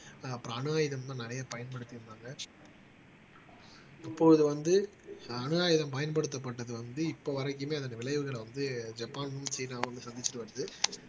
அப்புறம் அணு ஆயுதம்தான் நிறைய பயன்படுத்தி இருந்தாங்க இப்போது வந்து அணு ஆயுதம் பயன்படுத்தப்பட்டது வந்து இப்ப வரைக்குமே அதன் விளைவுகளை வந்து ஜப்பான்னும் சீனாவும் சந்திச்சிட்டு வருது